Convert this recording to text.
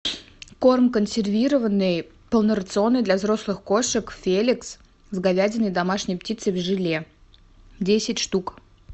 корм консервированный полнорационный для взрослых кошек феликс с говядиной и домашней птицей в желе десять штук